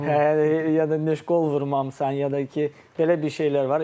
Hə ya da heç qol vurmamısan, ya da ki, belə bir şeylər var.